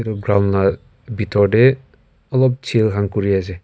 ground la bitor de olop chill khan kuri ase.